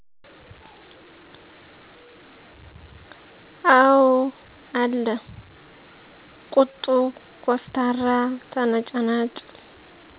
አው አለ ቁጡ፣ ኮስታራ፣ ተነጫናጭ